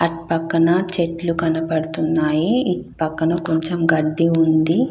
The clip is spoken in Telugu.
అటు పక్కన చెట్లు కనబడుతున్నాయి. ఇటు పక్కన కొంచం గడ్డి ఉంది.